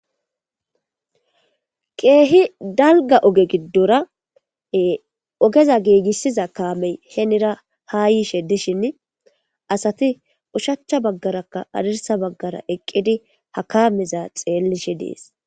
Keehi dalga oge giddora ogeza giigissiza kaamey heenira ha yiishe dishin asati ushachcha baggarakka adirsa baggara eqqidi ha kameza xeellishe dees